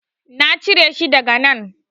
Na cire shi daga nan.